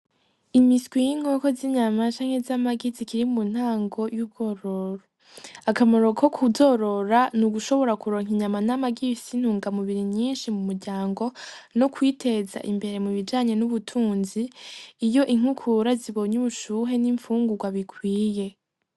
Imiswi y’inkoko z’inyama canke z’amagi zikiri mu ntango y’urwororo , akamaro ko kuzorora n’ugushobora kuronka inyama n’amagi bifise intungamubiri nyinshi mu muryango no kwiteza imbere mu bijanye n’ubutunzi iyo inkukura zibonye ubushuhe n’inpfungurwa bikwiye.